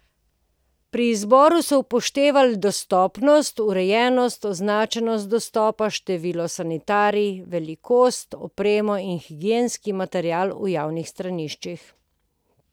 Pri izboru so upoštevali dostopnost, urejenost, označenost dostopa, število sanitarij, velikost, opremo in higienski material v javnih straniščih.